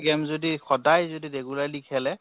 game যদি সদায় যদি regularly খেলে